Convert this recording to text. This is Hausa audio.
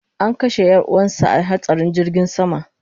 An kashe yar'uwansa a hatsarin jirgin sama